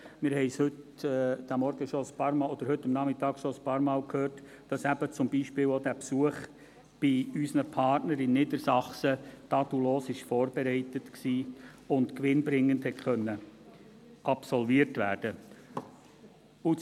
Wir haben es heute Nachmittag schon ein paarmal gehört, dass zum Beispiel auch der Besuch bei unseren Partnern in Niedersachsen tadellos vorbereitet war und gewinnbringend absolviert werden konnte.